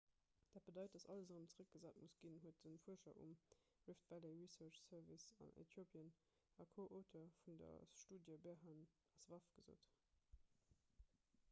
dat bedeit datt alles erëm zeréckgesat muss ginn huet de fuerscher um rift valley research service an äthiopien a co-auteur vun der studie berhane asfaw gesot